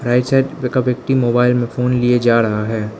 Right side एक व्यक्ति mobile में फोन लिए जा रहा है।